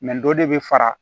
dɔ de bɛ fara